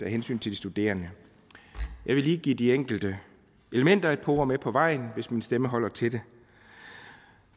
af hensyn til de studerende jeg vil lige give de enkelte elementer et par ord med på vejen hvis min stemme holder til det